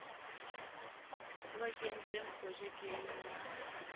o ba kentseng projekeng ya